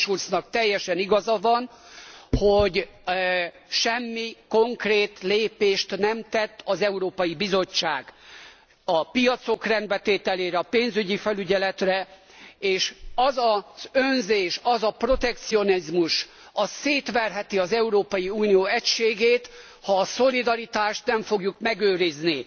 Martin Schulznak teljesen igaza van, hogy semmi konkrét lépést nem tett az Európai Bizottság a piacok rendbetételére, a pénzügyi felügyeletre és az az önzés, az a protekcionizmus szétverheti az Európai Unió egységét, ha a szolidaritást nem fogjuk megőrizni.